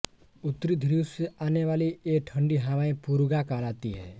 उत्तरी ध्रुव से आनेवाली ये ठंडी हवाएँ पुर्गा कहलाती हैं